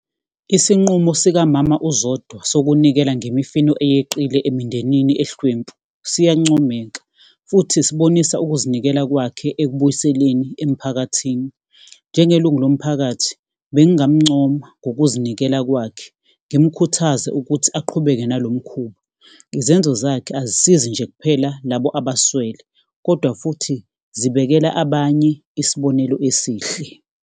Isinqumo sikamama uZodwa sokunikela ngemifino eyeqile emindenini ehlwempu, siyancomeka futhi sibonisa ukuzinikela kwakhe ekubuyiseleni emphakathini. Njengelungu lomphakathi bengingamuncoma ngokuzinikela kwakhe, ngimukhuthaze ukuthi aqhubeke nalo mkhuba. Izenzo zakhe azisizi nje kuphela labo abaswele, kodwa futhi zibekela abanye isibonelo esihle.